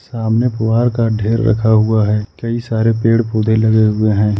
सामने पुआल का ढ़ेर रखा हुआ है कई सारे पेड़ पौधे लगे हुए हैं।